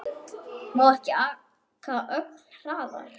Má ekki aka ögn hraðar?